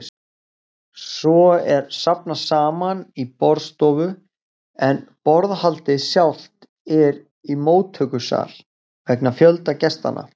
Svo er safnast saman í borðstofu, en borðhaldið sjálft er í móttökusal, vegna fjölda gestanna.